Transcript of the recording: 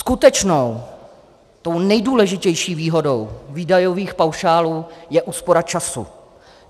Skutečnou, tou nejdůležitější výhodou výdajových paušálů, je úspora času.